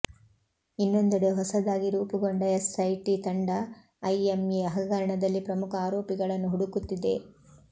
ಇನ್ನೊಂದೆಡೆ ಹೊಸದಾಗಿ ರೂಪುಗೊಂಡ ಎಸ್ ಐಟಿ ತಂಡ ಐಎಂಎ ಹಗರಣದಲ್ಲಿ ಪ್ರಮುಖ ಆರೋಪಿಗಳನ್ನು ಹುಡುಕುತ್ತಿದೆ